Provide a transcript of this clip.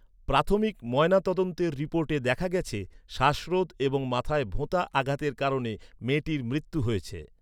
প্রাথমিক ময়নাতদন্তের রিপোর্টে দেখা গেছে শ্বাসরোধ এবং মাথায় ভোঁতা আঘাতের কারণে মেয়েটির মৃত্যু হয়েছে।